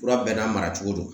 Kura bɛɛ n'a mara cogo do